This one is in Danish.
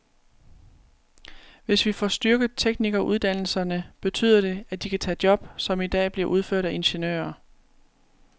Hvis vi får styrket teknikeruddannelserne, betyder det, at de kan tage job, som i dag bliver udført af ingeniører.